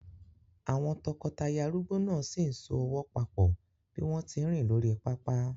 Àwọn tọkọtaya arúgbó náà sì ń so ọwọ́ papọ̀ bí wọ́n tí ń rìn lórí pápá.